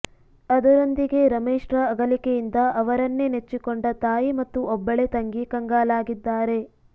ಅದರೊಂದಿಗೆ ರಮೇಶ್ರ ಅಗಲಿಕೆಯಿಂದ ಅವರನ್ನೇ ನೆಚ್ಚಿಕೊಂಡ ತಾಯಿ ಮತ್ತು ಒಬ್ಬಳೇ ತಂಗಿ ಕಂಗಾಲಾಗಿದ್ದಾರೆ